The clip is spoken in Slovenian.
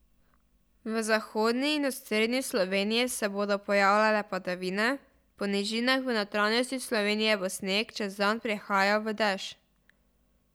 V zahodni in osrednji Sloveniji se bodo pojavljale padavine, po nižinah v notranjosti Slovenije bo sneg čez dan prehajal v dež.